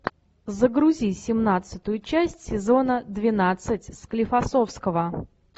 загрузи семнадцатую часть сезона двенадцать склифосовского